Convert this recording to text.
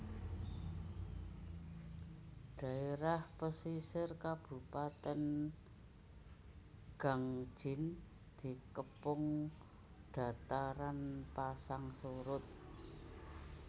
Dhaerah pesisir kabupatèn Gangjin dikepung dataran pasang surut